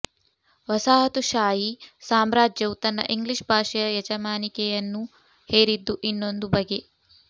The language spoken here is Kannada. ವಸಾಹತುಶಾಹಿ ಸಾಮ್ರಾಜ್ಯವು ತನ್ನ ಇಂಗ್ಲೀಷ್ ಭಾಷೆಯ ಯಜಮಾನಿಕೆಯನ್ನು ಹೇರಿದ್ದು ಇನ್ನೊಂದು ಬಗೆ